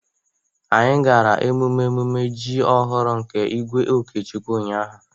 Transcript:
anyi gara emume emume ji ọhụrụ nke igwe okechukwu ụnyahụ